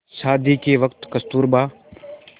शादी के वक़्त कस्तूरबा